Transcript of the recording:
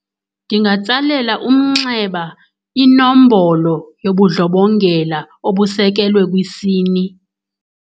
Ndingatsalela umnxeba inombolo yobundlobongela obusekelwe kwisini.